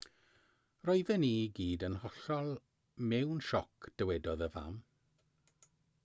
roedden ni i gyd yn hollol mewn sioc dywedodd y fam